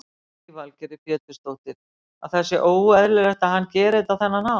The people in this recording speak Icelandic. Lillý Valgerður Pétursdóttir: Að það sé óeðlilegt að hann geri þetta á þennan hátt?